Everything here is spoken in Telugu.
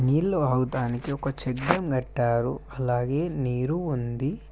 నీళ్లు ఆగటానికి ఒక చెక్ డ్యామ్ కట్టారు అలాగే నీరు ఉంది.